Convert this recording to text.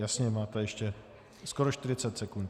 Jasně, máte ještě skoro 40 sekund.